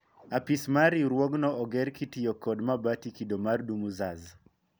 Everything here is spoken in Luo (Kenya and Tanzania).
Apis mar riwruogno oger kitiyo kod mabati kido mar dumuzas